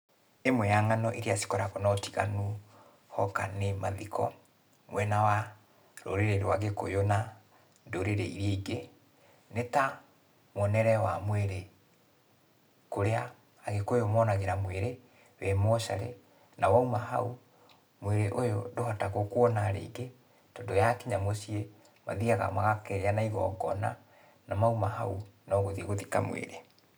Imwe ya ng'ano iria cikoragũo na ũtiganu hoka nĩ mathiko mwena wa rũrĩrĩ rwa Gĩkũyũ na ndũrĩrĩ iria ingĩ, nĩ ta, mũonere wa mwĩrĩ kũrĩa agĩkũyũ monagĩra mwĩrĩ wĩ mocarĩ, na wauma hau, mwĩrĩ ũyũ ndũhotagũo kuona rĩngĩ, tondũ yakinya mũciĩ, mathiaga magakĩgĩa na igongona, na mauma hau, no gũthiĩ gũthika mwĩrĩ.